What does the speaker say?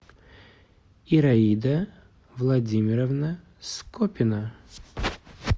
ираида владимировна скопина